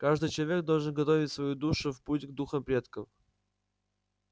каждый человек должен готовить свою душу в путь к духам предков